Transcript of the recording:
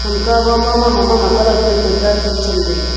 kamka gama bama mama colour paper da tu tham taiga.